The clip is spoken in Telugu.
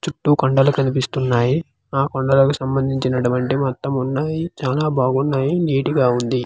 చుట్టూ కొండలు కనిపిస్తున్నాయి ఆ కొండలకు సంబందించి నటువంటి మొత్తం ఉన్నాయి చాన బాగున్నాయి నిట్ గా ఉంది.